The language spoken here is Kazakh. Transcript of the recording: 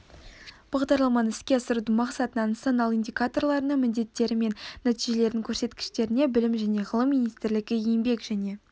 бағдарламаны іске асырудың мақсатына нысаналы индикаторларына міндеттері мен нәтижелердің көрсеткіштеріне білім және ғылым министрлігі еңбек және